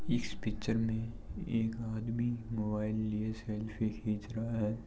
इस पिक्चर में एक आदमी मोबाइल लिए सेल्फी खींच रहा है।